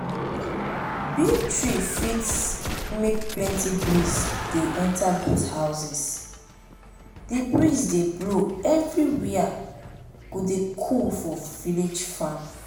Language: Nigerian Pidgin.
big tree fit make plenty breeze dey enter goat houseas the breeze dey blow every wia go dey cool for village farm.